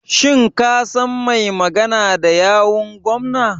Shin ka san mai magana da yawun gwamnan.